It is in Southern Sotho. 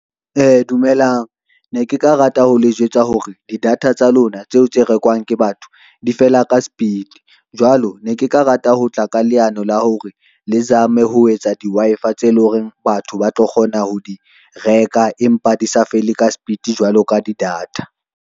Dumelang ne ke ka rata ho le jwetsa hore di-data tsa lona tseo tse rekwang ke batho di fela ka sepiti, jwalo ne ke ka rata ho tla ka leano la hore le zame ho etsa di-Wi-Fi tse leng hore batho ba tlo kgona ho di reka empa di sa fele ka sepiti jwalo ka di-data.